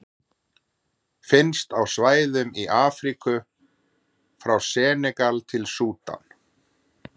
Finnst á svæðum í Afríku frá Senegal til Súdan.